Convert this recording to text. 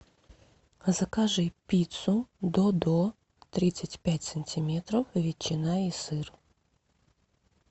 закажи пиццу додо тридцать пять сантиметров ветчина и сыр